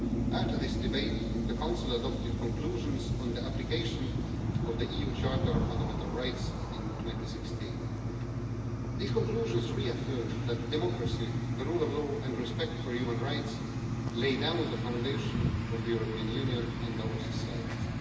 After this debate, the Council adopted conclusions on the application of the EU Charter of Fundamental Rights in 2016. These conclusions reaffirmed that democracy, the rule of law and respect for human rights lay down the foundation of the European Union and our societies.